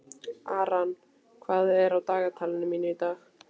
Aran, hvað er á dagatalinu mínu í dag?